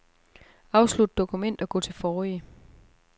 Afslut dokument og gå til forrige.